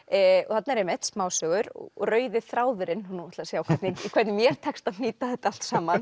þarna eru einmitt smásögur og rauði þráðurinn nú er að sjá hvernig hvernig mér tekst að hnýta þetta allt saman